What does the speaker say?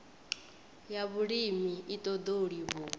ya vhulimi i ṱoḓou livhuwa